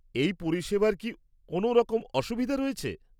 এই পরিষেবার কি কোনও রকম অসুবিধা রয়েছে?